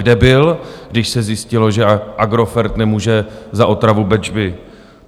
Kde byl, když se zjistilo, že Agrofert nemůže za otravu Bečvy?